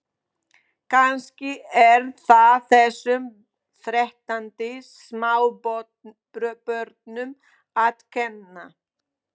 Kannski er það þessum þreytandi smábörnum að kenna.